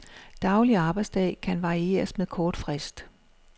Daglig arbejdsdag kan varieres med kort frist.